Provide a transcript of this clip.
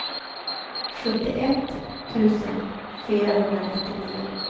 sjuttioett tusen fyrahundranittionio